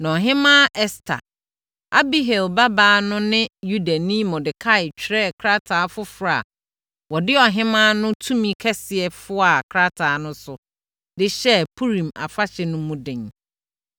Na Ɔhemmaa Ɛster, Abihail babaa no ne Yudani Mordekai twerɛɛ krataa foforɔ a wɔde ɔhemmaa no tumi kɛseɛ foaa krataa no so de hyɛɛ Purim afahyɛ no mu den.